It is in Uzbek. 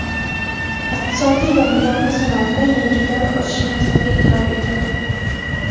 iqtisodiy va mudofaa sanoatida yangi davr ochish maqsadi e’tirof etildi.